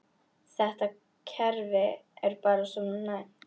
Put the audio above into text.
Þetta kerfi er bara svona næmt.